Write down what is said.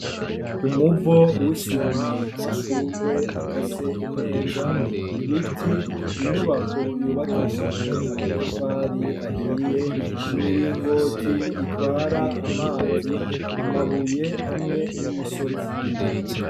Umuvo w’isima ,amashugwe akase neza, ibiti ,inyubako yubakishijwe amatafari ahiye ,imiringoti itwara amazi, amabuye hamwe n'imisozi.